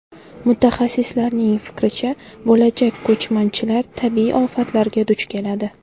Mutaxassislarning fikricha, bo‘lajak ko‘chmanchilar tabiiy ofatlarga duch keladi.